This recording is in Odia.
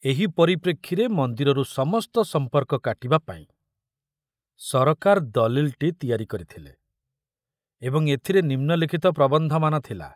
ଏହି ପରିପ୍ରେକ୍ଷୀରେ ମନ୍ଦିରରୁ ସମସ୍ତ ସମ୍ପର୍କ କାଟିବା ପାଇଁ ସରକାର ଦଲିଲଟି ତିଆରି କରିଥିଲେ ଏବଂ ଏଥିରେ ନିମ୍ନଲିଖତ ପ୍ରବନ୍ଧମାନ ଥିଲା